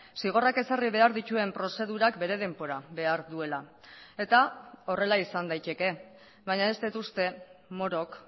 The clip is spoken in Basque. zigorrak ezarri behar dituen prozedurak bere denbora behar duela eta horrela izan daiteke baina ez dut uste morok